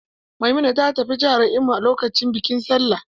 Maimuna ta tafi jihar Imo lokacin bikin Sallah.